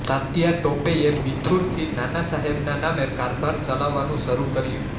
તાત્યા ટોપેએ બિથુરથી નાના સાહેબના નામે કારભાર ચલાવવાનું શરૂ કર્યું